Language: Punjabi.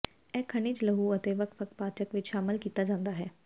ਇਹ ਖਣਿਜ ਲਹੂ ਅਤੇ ਵੱਖ ਵੱਖ ਪਾਚਕ ਵਿਚ ਸ਼ਾਮਲ ਕੀਤਾ ਜਾਂਦਾ ਹੈ